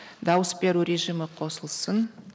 дауыс беру режимі қосылсын